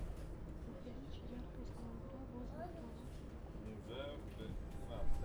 увеличь яркость на бра возле кровати на кухне